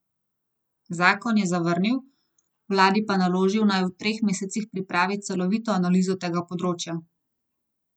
Zakon je zavrnil, vladi pa naložil, naj v treh mesecih pripravi celovito analizo tega področja.